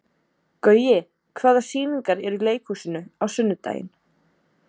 Gaui, hvaða sýningar eru í leikhúsinu á sunnudaginn?